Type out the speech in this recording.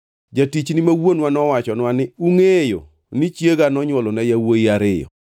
“Jatichni ma wuonwa nowachonwa ni, ‘Ungʼeyo ni chiega nonywolona yawuowi ariyo.